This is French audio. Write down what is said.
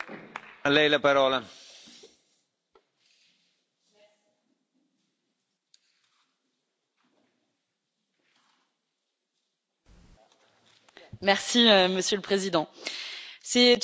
Monsieur le Président, c'est une drôle de sensation pour nous que de célébrer l'anniversaire du traité de Lisbonne, alors qu'il n'aurait pas dû être adopté après les résultats des référendums en France, aux Pays Bas et en Irlande.